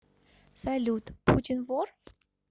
салют путин вор